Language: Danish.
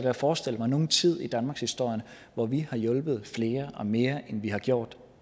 at forestille mig nogen tid i danmarkshistorien hvor vi har hjulpet flere og mere end vi har gjort